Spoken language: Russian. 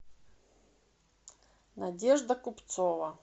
надежда купцова